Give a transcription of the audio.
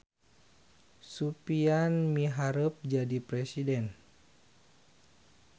Supian miharep jadi presiden